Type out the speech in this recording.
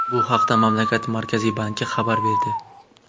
Bu haqda mamlakat Markaziy banki xabar berdi .